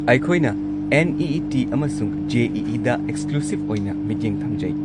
ꯑꯩꯈꯣꯏꯅ ꯅꯤꯠ ꯑꯃꯁꯨꯡ ꯖꯤ ꯗ ꯑꯦꯛꯁꯀ꯭ꯂꯨꯁꯤꯕ ꯑꯣꯏꯅ ꯃꯤꯠꯌꯦꯡ ꯊꯝꯖꯩ꯫